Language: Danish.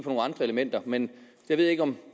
nogle andre elementer men jeg ved ikke om